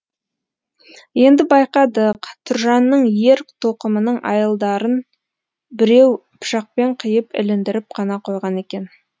енді байқадық тұржанның ер тоқымының айылдарын біреу пышақпен қиып іліндіріп қана қойған екен